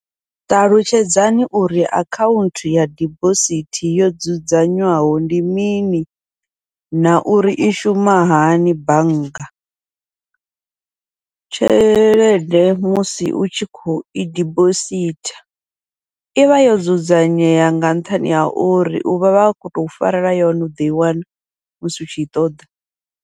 Ṱalutshedzani uri akhaunthu ya dibosithi yo dzudzanywaho ndi mini, na uri i shuma hani bannga, tshelede musi u tshi khou i dibosithi ivha yo dzudzanyea, nga nṱhani ha uri uvha vha khou tou farela yone u ḓoi wana musi u tshi i ṱoḓa.